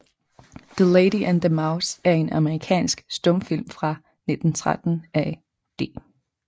The Lady and the Mouse er en amerikansk stumfilm fra 1913 af D